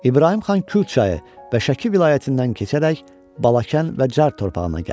İbrahim xan Kür çayı və Şəki vilayətindən keçərək Balakən və Çar torpağına gəldi.